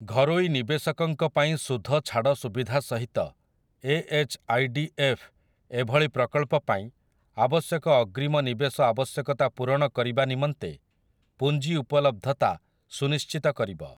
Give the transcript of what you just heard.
ଘରୋଇ ନିବେଶକଙ୍କ ପାଇଁ ସୁଧଛାଡ଼ ସୁବିଧା ସହିତ A H I D F ଏଭଳି ପ୍ରକଳ୍ପ ପାଇଁ ଆବଶ୍ୟକ ଅଗ୍ରୀମ ନିବେଶ ଆବଶ୍ୟକତା ପୂରଣ କରିବା ନିମନ୍ତେ ପୁଞ୍ଜି ଉପଲବ୍ଧତା ସୁନିଶ୍ଚିତ କରିବ ।